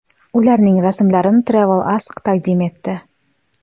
Ularning rasmlarini Travel Ask taqdim etdi.